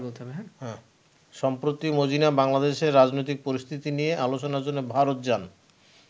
সম্প্রতি মজিনা বাংলাদেশের রাজনৈতিক পরিস্থিতি নিয়ে আলোচনার জন্য ভারত যান।